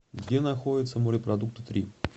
где находится морепродукты три